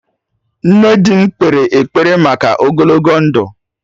Nne di m kpere ekpere maka ogologo ndụ